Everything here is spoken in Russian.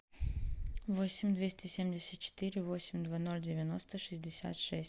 восемь двести семьдесят четыре восемь два ноль девяносто шестьдесят шесть